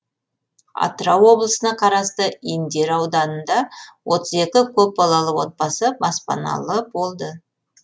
атырау облысына қарасты индер ауданында отыз екі көпбалалы отбасы баспаналы болды